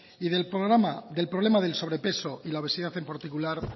y del problema del sobrepeso y la obesidad en particular